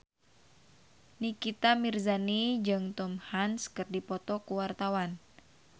Nikita Mirzani jeung Tom Hanks keur dipoto ku wartawan